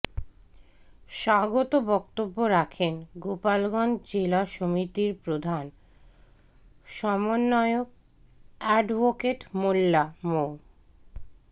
স্বাগত বক্তব্য রাখেন গোপালগঞ্জ জেলা সমিতির প্রধান সমন্বয়ক এ্যাডভোকেট মোল্লা মো